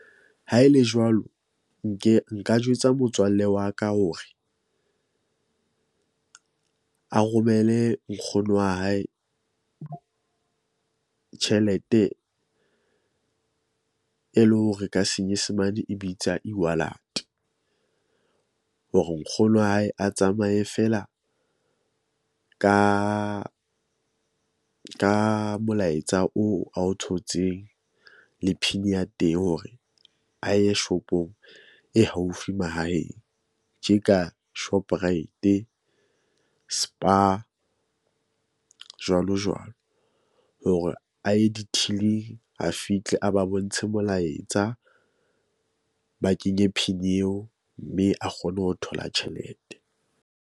Ha e le jwalo nke nka jwetsa motswalle wa ka hore a romele nkgono wa hae, tjhelete e le hore ka senyesemane e bitsa e-walate. Hore nkgono wa hae a tsamaye feela ka ka molaetsa oo ao thotseng le PIN ya teng hore a ye shop-ong e haufi mahaheng tje ka Shoprite, Spar, jwalo jwalo. Hore a ye di-till-ing a fihle a ba bontshe molaetsa, ba kenye PIN eo mme a kgone ho thola tjhelete.